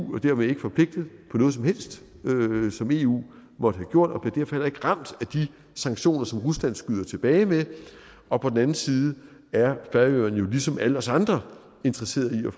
dermed ikke forpligtet på noget som helst som eu måtte have gjort og bliver heller ikke ramt af de sanktioner som rusland skyder tilbage med og på den andet side er færøerne jo ligesom alle os andre interesseret i